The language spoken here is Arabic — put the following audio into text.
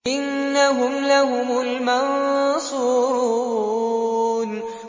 إِنَّهُمْ لَهُمُ الْمَنصُورُونَ